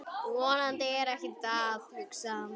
Vonandi er ekkert að, hugsaði hann.